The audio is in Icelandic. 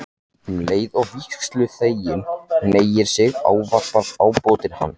Um leið og vígsluþeginn hneigir sig ávarpar ábótinn hann